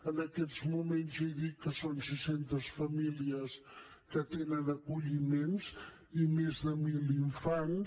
en aquests moments ja dic que són sis centes famílies que tenen acolliments i més de mil infants